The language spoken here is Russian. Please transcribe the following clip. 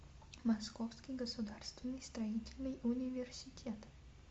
московский государственный строительный университет